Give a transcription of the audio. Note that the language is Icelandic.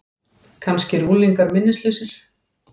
Kannski eru unglingar minnislausir?